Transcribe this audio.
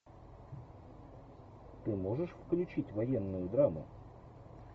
ты можешь включить военную драму